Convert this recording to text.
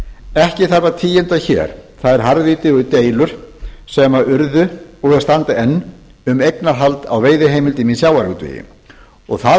ekki þarf að tíunda hér þær harðvítugu deilur sem urðu og standa enn um eignarhald á veiðiheimildum í sjávarútvegi og það